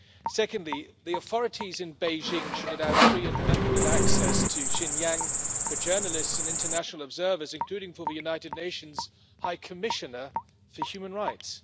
Secondly, the authorities in Beijing should allow free and unhindered access to Xinjiang for journalists and international observers, including the United Nations High Commissioner for Human Rights.